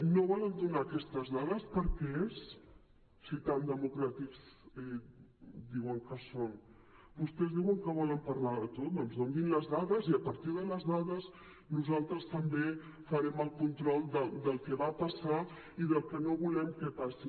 no volen donar aquestes dades per què és si tan democràtics diuen que són vostès diuen que volen parlar de tot doncs donin les dades i a partir de les dades nosaltres també farem el control del que va passar i del que no volem que passi